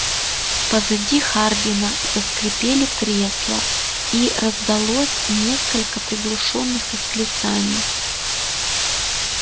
позади хардина заскрипели кресла и раздалось несколько приглушённых восклицаний